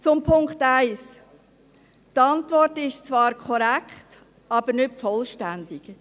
Zum Punkt 1: Die Antwort ist zwar korrekt, aber nicht vollständig.